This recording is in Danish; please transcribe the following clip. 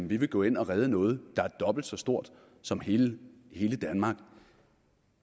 vi vil gå ind og redde noget der er dobbelt så stort som hele danmark